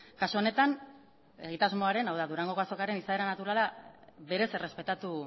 kasu honetan egitasmoaren hau da durangoko azokaren izaera naturala berez errespetatu